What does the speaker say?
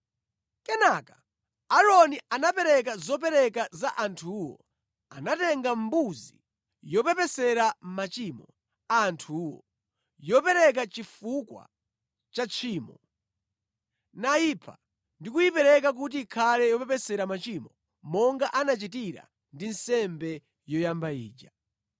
Kenaka Aaroni anapereka zopereka za anthuwo. Anatenga mbuzi yopepesera machimo a anthuwo, yopereka chifukwa cha tchimo, nayipha ndi kuyipereka kuti ikhale yopepesera machimo monga anachitira ndi nsembe yoyamba ija.